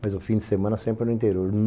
Mas o fim de semana sempre era no interior.